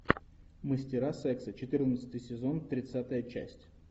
мастера секса четырнадцатый сезон тридцатая часть